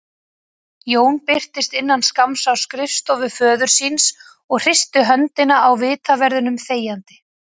Jón birtist innan skamms á skrifstofu föður síns og hristi höndina á vitaverðinum þegjandi.